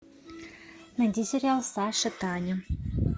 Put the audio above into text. найди сериал саша таня